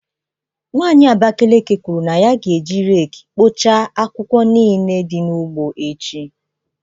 Nwanyị Abakiliki kwuru na ya ga-eji rake kpochaa akwụkwọ niile dị n’ugbo echi.